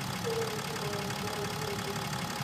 Tũgũthiĩ kũhoera kũ ũmũthiĩ?